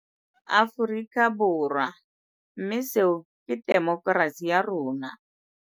Aforika Borwa - mme seo ke temo kerasi ya rona.